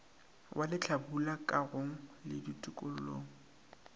wa lehlabula kagong le tokollong